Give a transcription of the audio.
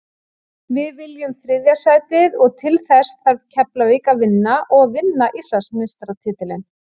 Við viljum þriðja sætið og til þess þarf Keflavík að vinna og vinna Íslandsmeistaratitilinn.